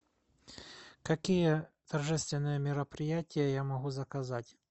какие торжественные мероприятия я могу заказать